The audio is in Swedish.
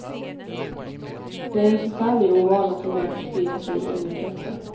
Det är en förfärlig ovana som börjat sprida sig i innekretsar.